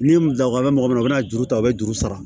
Ni daga bɛ mɔgɔ min na o bɛ na juru ta a bɛ juru sara